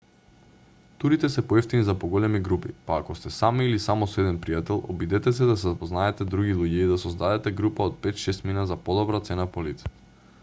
турите се поевтини за поголеми групи па ако сте сами или само со еден пријател обидете се да запознаете други луѓе и да создадете група од пет-шестмина за подобра цена по лице